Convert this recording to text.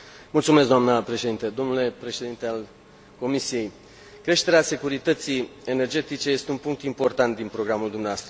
Doamnă președintă, domnule președinte al Comisiei, creșterea securității energetice este un punct important din programul dumneavoastră.